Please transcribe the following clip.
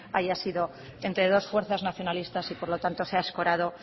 haya sido entre dos fuerzas nacionalistas y por lo tanto se ha escorado